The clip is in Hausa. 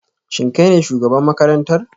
Shin kai ne shugaban makarantar?